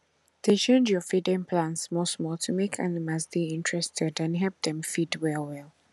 dey change your feeding plans smallsmall to make animals dey interested and help them feed well well